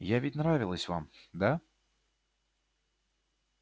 я ведь нравилась вам да